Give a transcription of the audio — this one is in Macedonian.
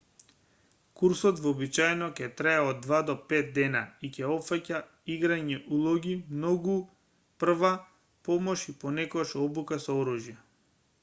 курсот вообичаено ќе трае од 2 до 5 дена и ќе опфаќа играње улоги многу прва помош и понекогаш обука со оружје